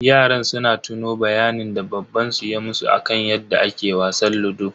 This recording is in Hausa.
Yaran suna tuno bayanin da baban su ya musu akan yadda ake wasan ludo.